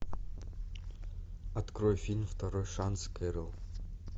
открой фильм второй шанс кэрол